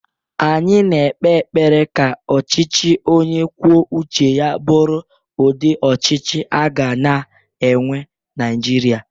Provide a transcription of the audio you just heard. Anyi na-ekpe ekpere ka ọchichị ọnye kwuọ ụche ya bụrụ ụdi ọchichi aga-na enwe Naijịria.